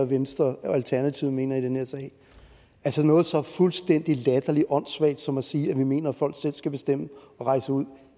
venstre og alternativet mener i den her sag altså noget så fuldstændig latterlig åndssvagt som at sige at vi mener at folk selv skal bestemme at rejse ud